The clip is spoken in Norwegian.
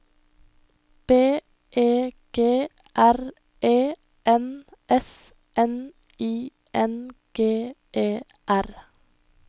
B E G R E N S N I N G E R